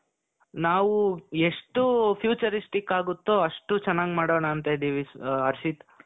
ನಾವು ಎಷ್ಟು futuristic ಆಗುತ್ತೋ ಅಷ್ಟು ಚೆನ್ನಾಗಿ ಮಾಡೋಣ ಅಂತ ಇದ್ದೀವಿ ಹರ್ಷಿತ್.